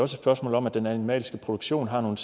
spørgsmål om at den animalske produktion har nogle